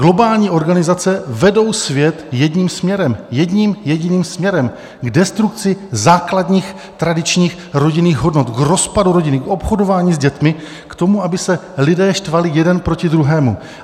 Globální organizace vedou svět jedním směrem, jedním jediným směrem: k destrukci základních tradičních rodinných hodnot, k rozpadu rodiny, k obchodování s dětmi, k tomu, aby se lidé štvali jeden proti druhému.